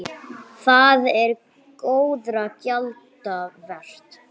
Það er góðra gjalda vert.